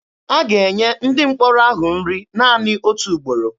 A ga-enye ndị mkpọrọ ahụ nri naanị otu ugboro.